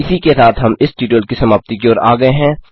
इसी के साथ हम इस ट्यूटोरियल की समाप्ति की ओर आ गये हैं